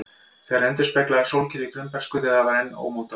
Þær endurspegla sólkerfið í frumbernsku, þegar það var enn ómótað.